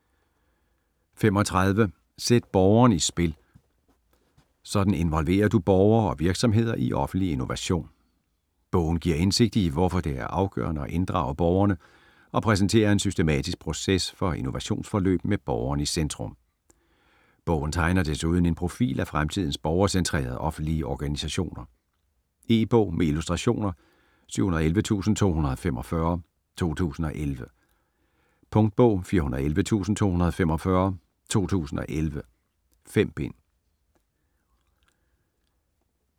35 Sæt borgeren i spil: sådan involverer du borgere og virksomheder i offentlig innovation Bogen giver indsigt i, hvorfor det er afgørende at inddrage borgerne, og præsenterer en systematisk proces for innovationsforløb med borgeren i centrum. Bogen tegner desuden en profil af fremtidens borgercentrerede offentlige organisation. E-bog med illustrationer 711245 2011. Punktbog 411245 2011. 5 bind.